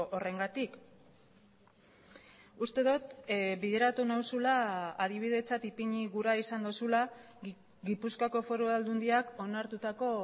horrengatik uste dut bideratu nauzula adibidetzat ipini gura izan duzula gipuzkoako foru aldundiak onartutako